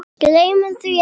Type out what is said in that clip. Gleymum því ekki.